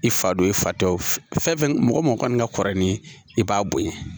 I fa do i fa tɛ o fɛn fɛn mɔgɔ mɔgɔ kɔni ka kɔrɔ ni i b'a bonya